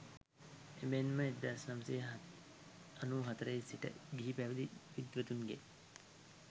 එමෙන්ම 1994 සිට ගිහි පැවිදි විද්වතුන්ගේ